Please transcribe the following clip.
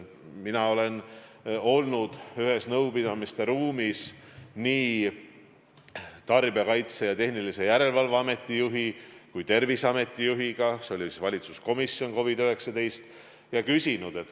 Mina olen olnud ühes nõupidamiste ruumis nii Tarbijakaitse ja Tehnilise Järelevalve Ameti juhi kui ka Terviseameti juhiga COVID-19 valitsuskomisjoni koosolekul.